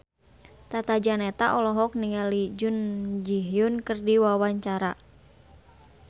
Tata Janeta olohok ningali Jun Ji Hyun keur diwawancara